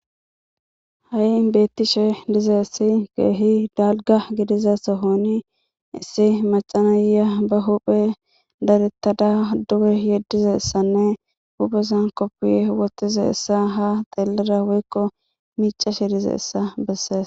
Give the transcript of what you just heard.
Hay betishe dizaysi kehi dalga gidiza Sohoni issi mac'a na'iya ba huphe dadetada duge yedizaysanne huphezan kopiye wotizaysa ha dhelada woyko mic'ashe dizaysa beses.